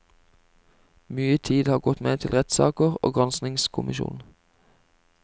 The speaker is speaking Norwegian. Mye tid har gått med til rettssaker og granskningskommisjon.